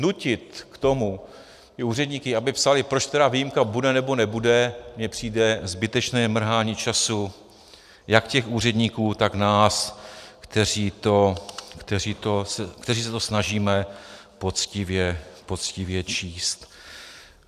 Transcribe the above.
Nutit k tomu ty úředníky, aby psali, proč teda výjimka bude nebo nebude, mi přijde zbytečné mrhání času jak těch úředníků, tak nás, kteří se to snažíme poctivě číst.